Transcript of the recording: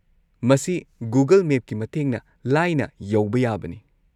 ꯃꯁꯤ ꯒꯨꯒꯜ ꯃꯦꯞꯀꯤ ꯃꯇꯦꯡꯅ ꯂꯥꯏꯅ ꯌꯧꯕ ꯌꯥꯕꯅꯤ꯫